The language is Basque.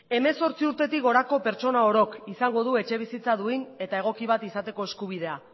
hemezortzi urtetik gorako pertsona orok izango du etxebizitza duin eta egoki bat izateko eskubidea